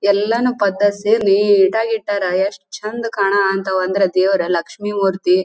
ಎಲ್ಲಾನು ಪೆದ್ದದ್ ಸಿ ನೀಟ್ ಆಗಿ ಇಟ್ಟರ ಎಷ್ಟ್ ಚಂದ್ ಕಾಣಹಂತ ದೇವರು ಲಕ್ಷ್ಮಿ ಮೂರ್ತಿ --